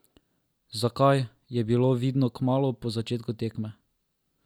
Zakaj, je bilo vidno kmalu po začetku tekme.